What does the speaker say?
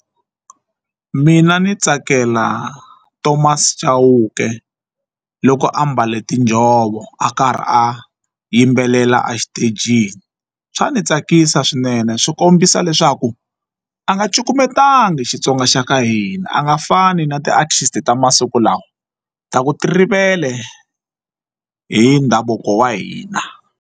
Mina ndzi tsakela Thomas Chauke loko a mbale tinjhovo a karhi a yimbelela a xitejini swa ni tsakisa swinene swi kombisa leswaku a nga cukumetangi Xitsonga xa ka hina a nga fani na ti-artist ta masiku lawa ta ku ti rivele hi ndhavuko wa hina.